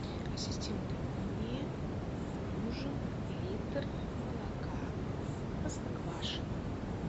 ассистент мне нужен литр молока простоквашино